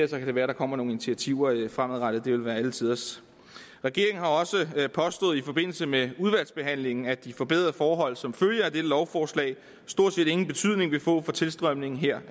så kan det være der kommer nogle initiativer fremadrettet det ville være alle tiders regeringen har også påstået i forbindelse med udvalgsbehandlingen at de forbedrede forhold som følge af dette lovforslag stort set ingen betydning vil få for tilstrømningen her